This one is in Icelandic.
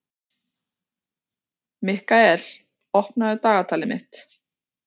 Mikkael, opnaðu dagatalið mitt.